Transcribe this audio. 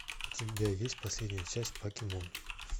у тебя есть последняя часть покемон